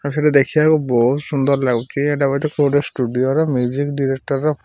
ଆଉ ସେଇଠି ଦେଖିବାକୁ ବହୁତ୍ ସୁନ୍ଦର ଲାଗୁଛି। ଏଟା ବୋଧେ କୋଉ ଷ୍ଟୁଡିଓ ର ମୁଜିକ୍ ଡିରେକ୍ଟର ।